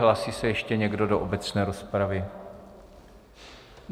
Hlásí se ještě někdo do obecné rozpravy?